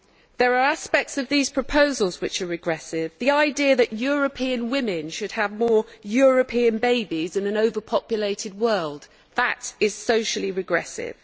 There are aspects of these proposals which are regressive the idea that European women should have more European babies in an overpopulated world is socially regressive.